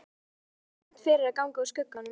Þakka þér samt fyrir að ganga úr skugga um það.